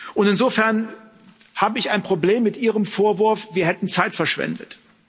Und insofern habe ich ein Problem mit Ihrem Vorwurf, wir hätten Zeit verschwendet.